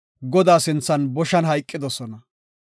Godaa sinthan boshan hayqidosona.